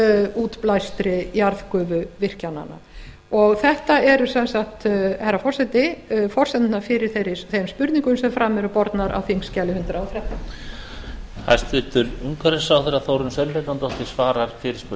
útblæstri jarðgufu virkjananna og þetta eru sem sagt herra forseti forsendurnar fyrir þeim spurningum sem fram eru bornar á þingskjali hundrað og þrettán ræðu lokið